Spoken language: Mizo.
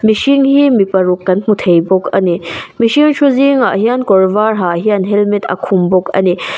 mihring hi mi paruk kan hmu thei bawk a ni mihring thu zingah hian kawr var ha hian helmet a khum bawk a ni.